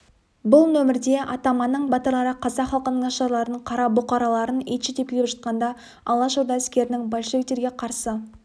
бұл нөмірде атаманның батырлары қазақ халқының нашарларын қара бұқараларын итше тепкілеп жатқанда алашорда әскерінің большевиктерге қарсы